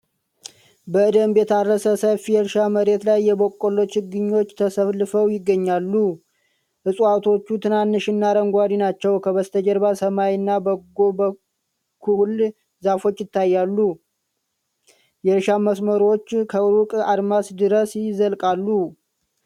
በደንብ የታረሰ ሰፊ የእርሻ መሬት ላይ የበቆሎ ችግኞች ተሰልፈው ይገኛሉ። እፅዋቶቹ ትናንሽ እና አረንጓዴ ናቸው። ከበስተጀርባ ሰማይና በጎን በኩል ዛፎች ይታያሉ። የእርሻው መስመሮች ከሩቅ አድማስ ድረስ ይዘልቃሉ።